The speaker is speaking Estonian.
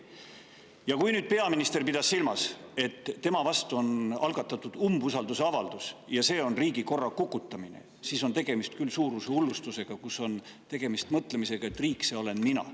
Ja kui nüüd peaminister pidas silmas, et tema vastu algatatud umbusaldusavalduse puhul on tegemist riigikorra kukutamisega, siis on küll tegemist suurusehullustusega ja mõttega: riik – see olen mina.